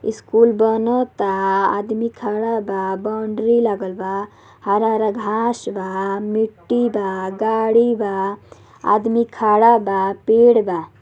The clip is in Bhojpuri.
स्कूल बनत हा आदमी खड़ा बा बाउंड्री लागल बा हरा-हरा घांस बा मिट्टी बा गाड़ी बा आदमी खड़ा बा पेड़ बा।